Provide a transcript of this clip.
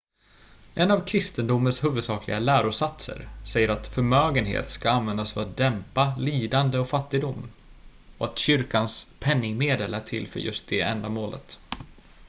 en av kristendomens huvudsakliga lärosatser säger att förmögenhet ska användas för att dämpa lidande och fattigdom och att kyrkans penningmedel är till för just det ändamålet